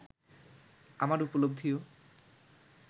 আমার উপলব্ধিও